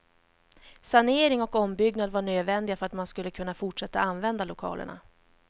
Sanering och ombyggnad var nödvändiga för att man skulle kunna fortsätta använda lokalerna.